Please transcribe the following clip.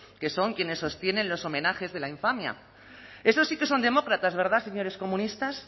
que son quienes sostienen los homenajes de la infamia esos sí que son demócratas verdad señores comunistas